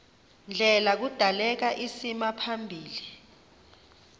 ndlela kudaleka isimaphambili